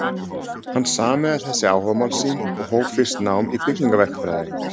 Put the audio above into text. Hann sameinaði þessi áhugamál sín og hóf fyrst nám í byggingarverkfræði.